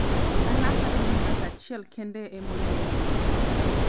an aparo ni ng'at achiel kende ema oyiene wuoyo